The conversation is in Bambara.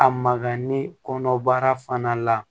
A magali kɔnɔbara fana la